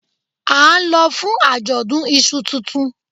A n lọ fún ajọdun ìṣù tuntun